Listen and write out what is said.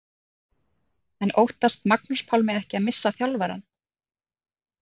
En óttast Magnús Pálmi ekki að missa þjálfarann?